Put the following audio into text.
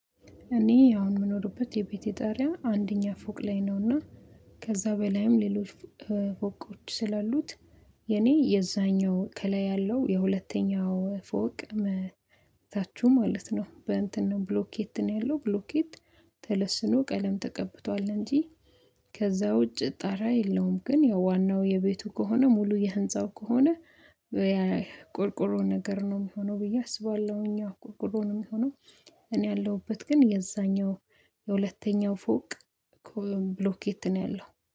እኔ አሁን የምኖርበት የቤቴ ጠሪያ አንደኛ ፎቅ ላይ ነውና። ከዛ በላይም ሌሎች ፎቆች ስላሉት። የኔ የዛኛው ከላይ ያለው የሁለተኛው ፎቅ መታችሁ ማለት ነው በእንትን ነው ብሎኬት ያለው ብሎኬት ተለስኖ ቀለም ተቀብቷል እንጂ። ከዛ ውጭ ጣራ የለውም። ግን የዋናው የቤቱ ከሆነ ሙሉ የህንፃው ከሆነ ያ ቆርቆሮ ነገር ነው የሚሆነው ብዬ አስባለሁ እኛ ቆርቆሮ ነው የሚሆነው። እኔ ያለሁበት ግን የዛኛው የሁለተኛው ፎቅ እኮ ብሎኬት ነው ያለው